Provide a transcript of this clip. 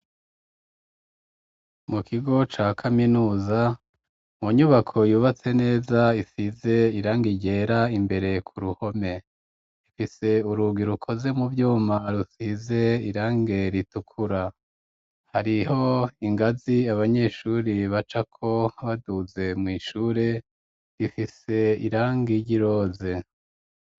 Mu kigo ca kaminuza mu nyubako yubatse neza isize irange ryera imbere ku ruhome ,ifise urugi rukoze mu vyuma rusize irange ritukura hariho ingazi abanyeshuri bacako baduze mw’ishure rifise irange ryiroze.